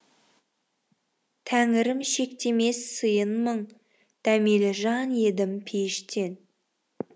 тәңірім шектемес сыйын мың дәмелі жан едім пейіштен